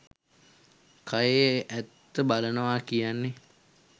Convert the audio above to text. කයේ ඇත්ත බලනවා කියන්නේ.